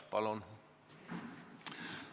Palun!